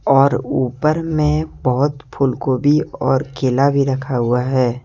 और ऊपर में बहोत फूलगोभी और केला भी रखा हुआ है।